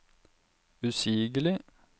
usigelig